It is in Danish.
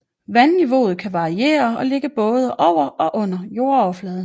Vandniveauet kan variere og ligge både over og under jordoverfladen